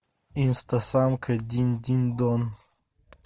инстасамка динь динь дон